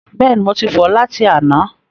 Bẹ́ẹ̀ni, mo ti fọ̀ ọ́ láti àná.